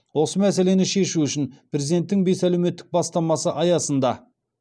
осы мәселені шешу үшін президенттің бес әлеуметтік бастамасы аясында